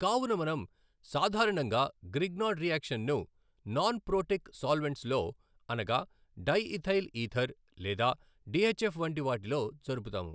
కావున మనం సాధారణంగా గ్రిగ్నార్డ్ రియాక్షన్ ను నాన్ ప్రోటిక్ సాల్వెంట్స్ లో అనగా డైఇథైల్ ఈథర్ లేదా టిఎచ్ఎఫ్ వంటి వాటిలో జరుపుతాము.